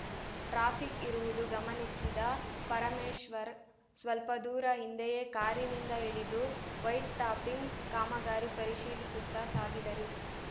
traffic ಇರುವುದು ಗಮನಸಿದ ಪರಮೇಶ್ವರ್‌ ಸ್ವಲ್ಪದೂರ ಹಿಂದೆಯೇ ಕಾರಿನಿಂದ ಇಳಿದು ವೈಟ್‌ಟಾಪಿಂಗ್‌ ಕಾಮಗಾರಿ ಪರಿಶೀಲಿಸುತ್ತಾ ಸಾಗಿದರು